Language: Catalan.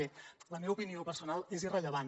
bé la meva opinió personal és irrellevant